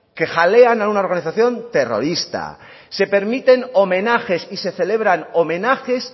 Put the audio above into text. que jalean a una organización terrorista se permiten homenajes y se celebran homenajes